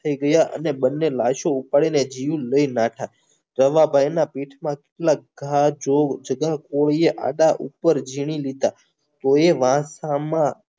હારી ગયા અને બંને લાસો ઉપાડી અને જીવ લઈને નાઠા રવા ભાઈના પીઠમાં કેટલા ઘા જોવો